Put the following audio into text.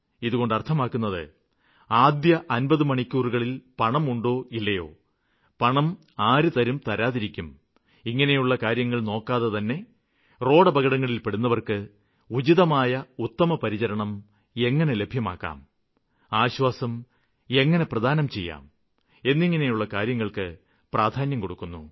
ഇതുകൊണ്ട് അര്ത്ഥമാക്കുന്നത് ആദ്യ 50 മണിക്കൂറുകളില് പൈസയുണ്ടോ ഇല്ലയോ പൈസ ആരു തരും തരാതിരിക്കും ഇങ്ങനെയുള്ള കാര്യങ്ങള് നോക്കാതെതന്നെ റോഡപകടങ്ങളില്പെടുന്നവര്ക്ക് ഉചിതമായ ഉത്തമപരിചരണം എങ്ങനെ ലഭ്യമാക്കാം ആശ്വാസം എങ്ങനെ പ്രദാനം ചെയ്യാം എന്നിങ്ങനെയുള്ള കാര്യങ്ങള്ക്ക് പ്രാധാന്യം കൊടുക്കുന്നു